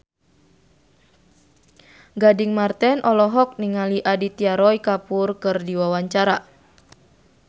Gading Marten olohok ningali Aditya Roy Kapoor keur diwawancara